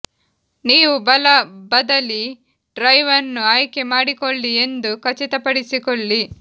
ನೀವು ಬಲ ಬದಲಿ ಡ್ರೈವ್ ಅನ್ನು ಆಯ್ಕೆ ಮಾಡಿಕೊಳ್ಳಿ ಎಂದು ಖಚಿತಪಡಿಸಿಕೊಳ್ಳಿ